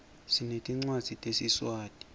sinetincwadzi tesiswati